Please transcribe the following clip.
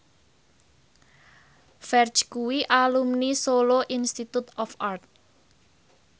Ferdge kuwi alumni Solo Institute of Art